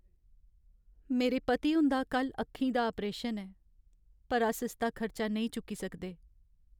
मेरे पति हुंदा कल्ल अक्खी दा आपरेशन ऐ पर अस इसदा खर्चा नेईं चुक्की सकदे।